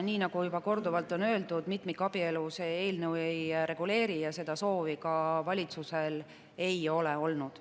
Nii nagu juba korduvalt on öeldud, mitmikabielu see eelnõu ei reguleeri ja seda soovi ka valitsusel ei ole olnud.